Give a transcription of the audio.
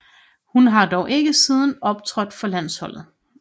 Hun har dog ikke siden optrådt for landsholdet